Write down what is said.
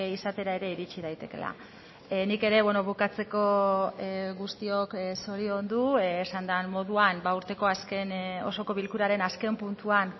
izatera ere iritsi daitekeela nik ere bukatzeko guztiok zoriondu esan den moduan urteko azken osoko bilkuraren azken puntuan